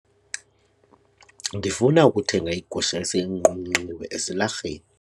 Ndifuna ukuthenga igusha eseyinqunqiwe esilarheni.